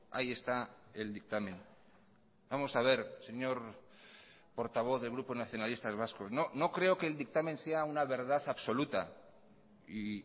ahí está el dictamen vamos a ver señor portavoz del grupo nacionalistas vascos no creo que el dictamen sea una verdad absoluta y